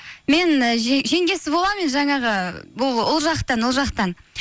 мен і жеңгесі боламын жаңағы бұл ұл жақтан